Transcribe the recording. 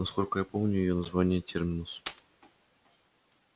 насколько я помню её название терминус